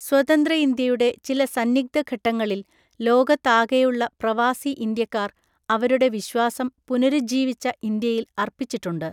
സ്വതന്ത്ര ഇന്ത്യയുടെ ചില സന്നിഗ്ധഘട്ടങ്ങളിൽ ലോകത്താകെയുള്ള പ്രവാസി ഇന്ത്യക്കാർ അവരുടെ വിശ്വാസം, പുനരുജ്ജീവിച്ച ഇന്ത്യയിൽ അർപ്പിച്ചിട്ടുണ്ട്‌ .